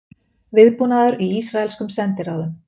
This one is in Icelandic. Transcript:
Viðbúnaður í ísraelskum sendiráðum